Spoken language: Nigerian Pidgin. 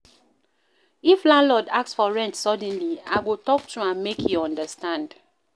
If landlord ask for rent suddenly again, I go talk to am make e understand.